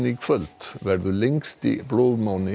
í kvöld verður lengsti